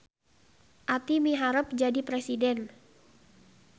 Aty miharep jadi presiden